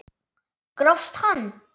Grófst hann!